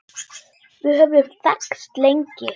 Við höfum þekkst lengi.